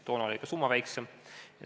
Toona oli ka summa väiksem.